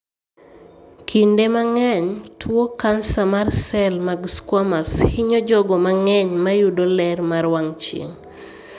Kinde mang'eny, tuo kansa mar sel mag squamous hinyo jogo mang'eny mayudo ler mar wang' chieng'.